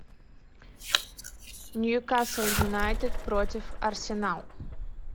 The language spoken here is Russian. ньюкасл юнайтед против арсенал